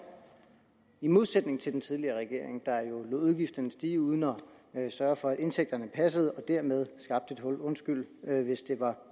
i modsætning til den tidligere regering der jo lod udgifterne stige uden at sørge for at indtægterne passede og dermed skabte den et hul undskyld hvis det var